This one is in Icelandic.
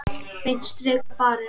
Beint strik á barinn.